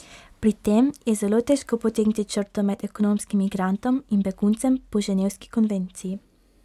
Pri tem je zelo težko potegniti črto med ekonomskim migrantom in beguncem po ženevski konvenciji.